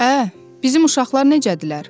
Ə, bizim uşaqlar necədirlər?